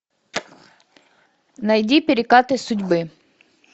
найди перекаты судьбы